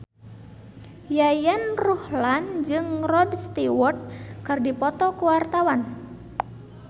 Yayan Ruhlan jeung Rod Stewart keur dipoto ku wartawan